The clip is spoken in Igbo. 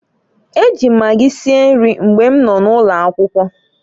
E ji m magi sie nri mgbe nọ n'ụlọ akwụkwọ.